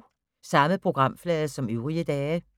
Samme programflade som øvrige dage